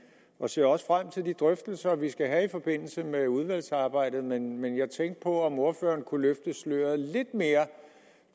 og ser også frem til de drøftelser vi skal have i forbindelse med udvalgsarbejdet men men jeg tænkte på om ordføreren kunne løfte sløret lidt mere